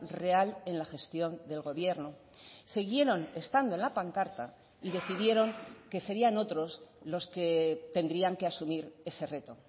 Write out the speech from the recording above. real en la gestión del gobierno siguieron estando en la pancarta y decidieron que serían otros los que tendrían que asumir ese reto